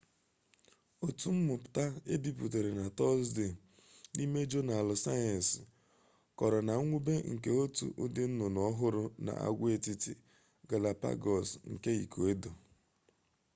otu mmụta e bipụtara na tọzdee n'ime jọnaalụ sayensi kọrọ na mwube nke otu ụdị nnụnụ ọhụrụ na agwaetiti galapagos nke ikuedọ